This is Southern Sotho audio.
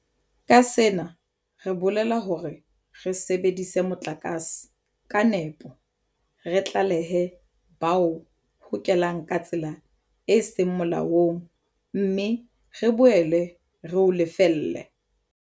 Ka sena re bolela hore re sebedise motlakase ka nepo, re tlalehe ba o hokelang ka tsela e seng molaong mme re boele re o lefelle.